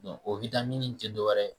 O in tɛ dɔwɛrɛ ye